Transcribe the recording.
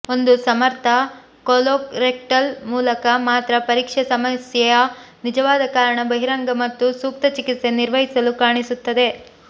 ಒಂದು ಸಮರ್ಥ ಕೊಲೊರೆಕ್ಟಲ್ ಮೂಲಕ ಮಾತ್ರ ಪರೀಕ್ಷೆ ಸಮಸ್ಯೆಯ ನಿಜವಾದ ಕಾರಣ ಬಹಿರಂಗ ಮತ್ತು ಸೂಕ್ತ ಚಿಕಿತ್ಸೆ ನಿರ್ವಹಿಸಲು ಕಾಣಿಸುತ್ತದೆ